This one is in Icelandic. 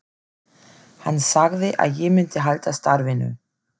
Hann sagði að ég myndi halda starfinu.